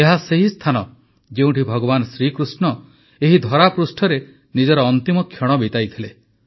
ଏହା ସେହି ସ୍ଥାନ ଯେଉଁଠି ଭଗବାନ ଶ୍ରୀକୃଷ୍ଣ ଏହି ଧରାପୃଷ୍ଠରେ ନିଜର ଅନ୍ତିମ କ୍ଷଣ ବିତାଇଥିଲେ